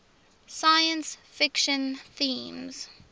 science fiction themes